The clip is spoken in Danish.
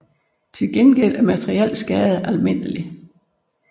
Til gengæld er materiel skade almindelig